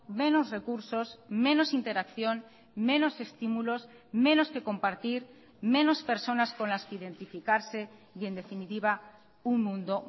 menos recursos menos interacción menos estímulos menos que compartir menos personas con las que identificarse y en definitiva un mundo